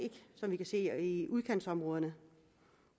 som vi kan se det i udkantområderne